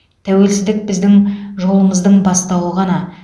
тәуелсіздік біздің жолымыздың бастауы ғана